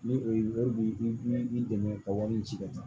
Ni o ye wari b'i dɛmɛ ka wari ci ka taa